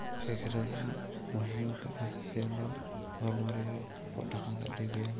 Fikradaha muhiimka ah si loo horumariyo ku dhaqanka DPL.